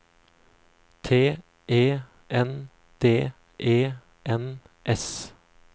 T E N D E N S